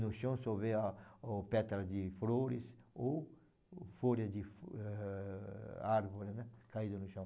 No chão só vê a o pétalas de flores ou folhas de eh árvores, né, caídas no chão.